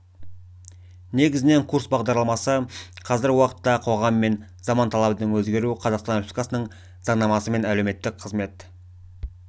негізінен курс бағдарламасы қазіргі уақытта қоғам мен заман талабының өзгеруі қазақстан республикасының заңнамасы мен әлеуметтік қызмет